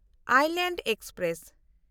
island express